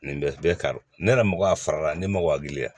Nin bɛ bɛɛ ka ne yɛrɛ mago a fara la ne ma wage la